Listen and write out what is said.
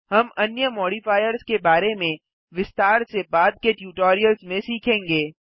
हम अन्य मॉडिफायर्स के बारे में विस्तार से बाद के ट्यूटोरियल्स में सीखेंगे